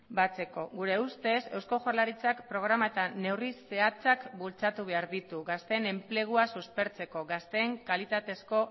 batzeko gure ustez eusko jaurlaritzak programa eta neurri zehatzak bultzatu behar ditu gazteen enplegua suspertzeko gazteen kalitatezko